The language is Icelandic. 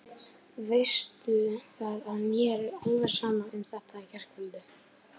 Veistu það að mér er alveg sama um þetta í gærkvöldi.